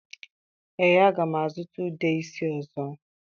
Ee, aga m azụta ude isi ọzọ